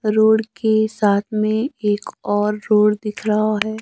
Road के साथ में एक और रोड दिख रहा है।